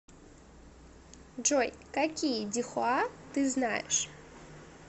джой какие дихуа ты знаешь